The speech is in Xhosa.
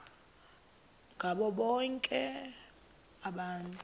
ngabo bonke abantu